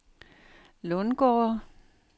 Lundgårde